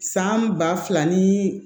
San ba fila ni